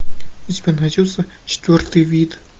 у тебя найдется четвертый вид